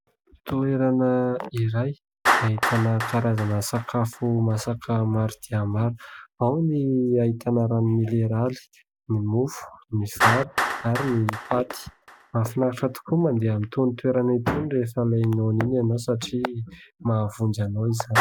Toerana iray, ahitana karazana sakafo masaka maro dia mara : ao ny ahitana rano mineraly, ny mofo, ny vary ary ny paty. Mahafinaritra tokoa ny mandeha amin'itony toerana itony rehefa ilay noana iny ianao satria mahavonjy anao izany.